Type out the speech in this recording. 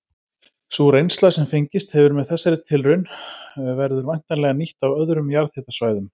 Sú reynsla sem fengist hefur með þessari tilraun verður væntanlega nýtt á öðrum jarðhitasvæðum.